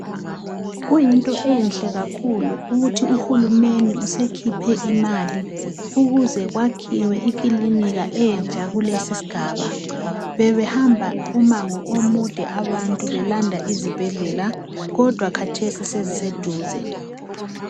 Kuyinto enhle kakhulu ukuthi uhulumende usekhiphe imali ukuze kwakhiwe ikilinika entsha kulesisigaba bebehamba umango omude abantu belanda izibhedlela kodwa kathesi seziseduze.